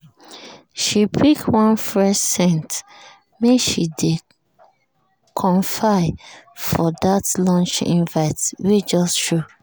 she pick one fresh scent make she dey comfy for that lunch invite wey just show.